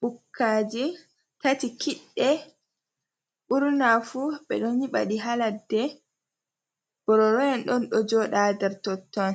Bukkaji tati kiɗde ɓurna fu ɓe ɗo nyiɓa ɗi ha ladde bororo en on ɗo joɗa nder totton,